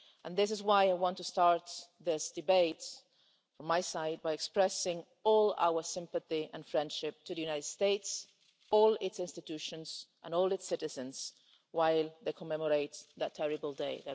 This is why I want to start this debate, from my side, by expressing all our sympathy and friendship to the USA, all its institutions and all its citizens, while they commemorate that terrible day.